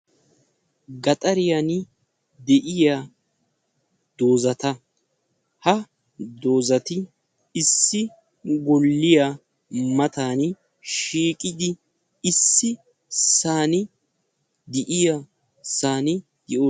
Gaxxariyan de'iya doozata, ha doozati issi golliya matan shiiqidi ississan de'iyoossan ....